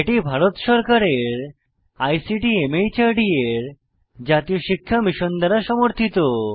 এটি ভারত সরকারের আইসিটি মাহর্দ এর জাতীয় শিক্ষা মিশন দ্বারা সমর্থিত